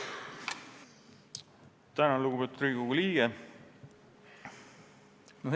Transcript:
Tänan, lugupeetud Riigikogu liige!